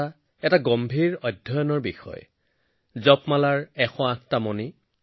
এই এশ আঠটা খণ্ডত মই প্ৰত্যক্ষ কৰা মানুহৰ অংশগ্ৰহণৰ বহু উদাহৰণে মোক অনুপ্ৰাণিত কৰিছিল